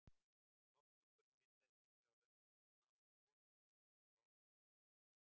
Lofthjúpurinn myndaðist líklega á löngum tíma úr gosgufum frá eldfjöllum.